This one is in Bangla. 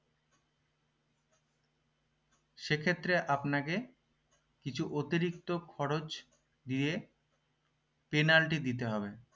সেক্ষেত্রে আপনাকে কিছু অতিরিক্ত খরচ দিয়ে penalty দিতে হবে